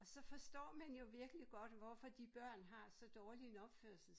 Og så forstår man jo virkelig godt hvorfor de børn har så dårlig en opførsel